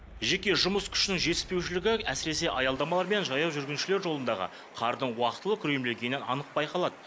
жеке жұмыс күшінің жетіспеушілігі әсіресе аялдамалар мен жаяу жүргіншілер жолындағы қардың уақытылы күрелмегенінен анық байқалады